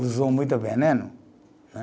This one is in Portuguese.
Usou muito veneno, né?